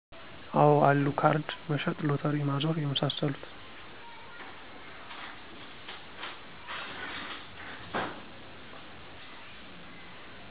አወ አሉ ካርድ መሸጥ ሎተሪ ማዞር የመሳሰሉት